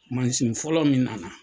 Mansin fɔlɔ min nana.